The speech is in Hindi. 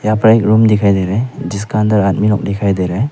यहाँ पर एक रूम दिखाई दे रहा है जिसका अंदर आदमी लोग दिखाई दे रहा है।